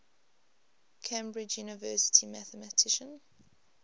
cambridge university mathematician